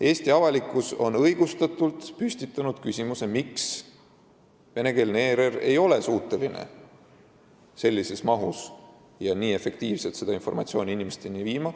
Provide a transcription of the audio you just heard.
Eesti avalikkus on õigustatult püstitanud küsimuse, miks ei ole venekeelne ERR suuteline piisavas mahus ja nii efektiivselt informatsiooni inimesteni viima.